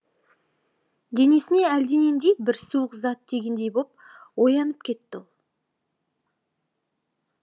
денесіне әлденендей бір суық зат тигендей боп оянып кетті ол